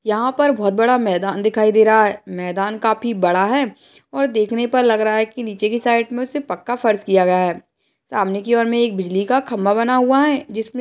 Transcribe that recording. यहां पर बहुत बड़ा मैदान दिखाई दे रहा है मैदान काफी बड़ा है और देखने पर लग रहा है कि नीचे की साइड में सिर्फ पक्का फार्स किया गया है सामने की ओर में एक बिजली का खम्बा बना हुआ है जिस --